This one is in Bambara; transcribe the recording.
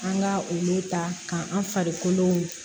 An ka olu ta k'an farikolo